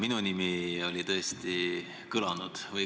Minu nimi siin tõesti kõlas.